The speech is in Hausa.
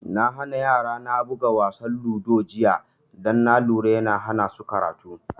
Na hana yara na buga wasa ludo jiya don na lura yana hana su karatu